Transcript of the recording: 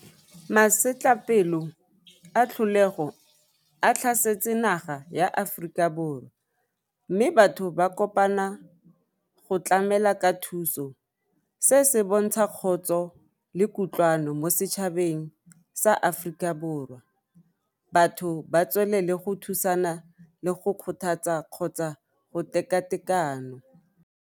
Masetlapelo a tlholego a tlhasetse naga ya Aforika Borwa mme batho ba kopana go tlamela ka thuso se se bontsha kgotso le kutlwano mo setšhabeng sa Aforika Borwa batho ba tswelele go thusana le go kgothatsa kgotsa go tekatekano.